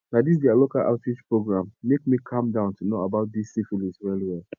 na this their local outreach program make me calm down to know about this syphilis well well